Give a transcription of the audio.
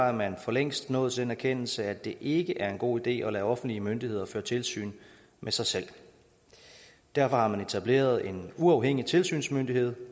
er man for længst nået til den erkendelse at det ikke er en god idé at lade offentlige myndigheder føre tilsyn med sig selv derfor har man etableret en uafhængig tilsynsmyndighed